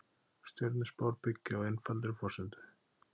Stjörnuspár byggja á einfaldri forsendu.